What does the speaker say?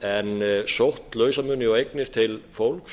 en sótt lausamuni og eignir til fólks